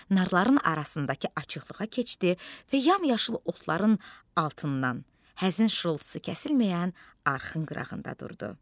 Narların arasındakı açıqlığa keçdi və yamyaşıl otların altından, həzin şırıltısı kəsilməyən arxın qırağında durdu.